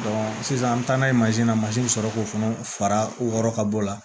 sisan an bɛ taa n'a ye na mansin bɛ sɔrɔ k'o fana fara wɔɔrɔ ka bɔ o la